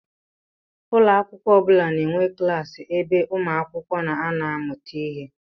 Ụlọakwụkwọ ọbula na-enwe klassi ebe umuakwukwo na-ano amụta ihe.